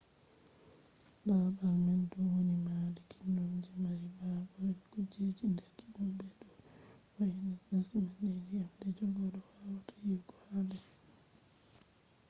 babal man do woni maadi kiddum je mari habaru be kujeji der kiddum be do vo’intini les man be dyam je goddo wawata yiwugo ha der